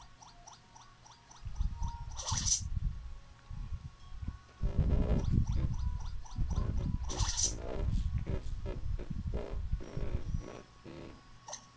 Þóra Kristín Ásgeirsdóttir: Hvað áttu við með því?